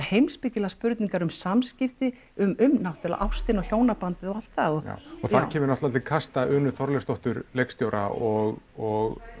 heimspekilegar spurningar um samskipti um náttúrulega ástina og hjónabandið og allt það og þar kemur náttúrulega til kasta Unu Þorleifsdóttur leikstjóra og og